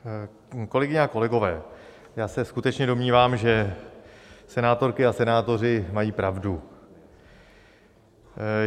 Kolegyně a kolegové, já se skutečně domnívám, že senátorky a senátoři mají pravdu.